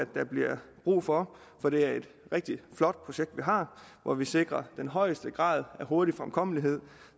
der bliver brug for for det er et rigtig flot projekt vi har hvor vi sikrer den højeste grad af hurtig fremkommelighed